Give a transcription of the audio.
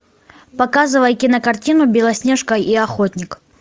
показывай кинокартину белоснежка и охотник